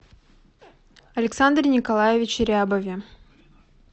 александре николаевиче рябове